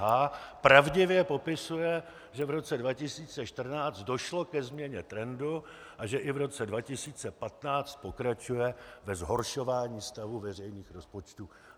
H pravdivě popisuje, že v roce 2014 došlo ke změně trendu a že i v roce 2015 pokračuje ve zhoršování stavu veřejných rozpočtů.